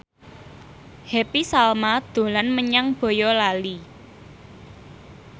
Happy Salma dolan menyang Boyolali